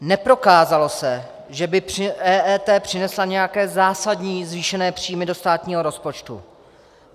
Neprokázalo se, že by EET přinesla nějaké zásadní zvýšené příjmy do státního rozpočtu.